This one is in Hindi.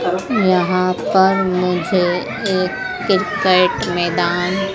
यहां पर मुझे एक क्रिकेट मैदान--